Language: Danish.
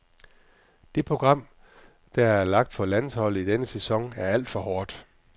Det program, der er lagt for landsholdet i denne sæson, er alt for hårdt.